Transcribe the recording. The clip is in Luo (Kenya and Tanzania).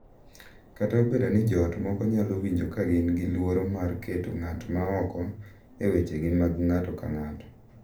Kata obedo ni joot moko nyalo winjo ka gin gi luoro mar keto ng’at ma oko e wechegi mag ng’ato ka ng’ato,